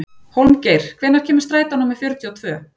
Hólmgeir, hvenær kemur strætó númer fjörutíu og tvö?